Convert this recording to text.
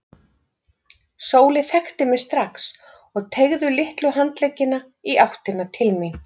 Sóley þekkti mig strax og teygði litlu handleggina í áttina til mín.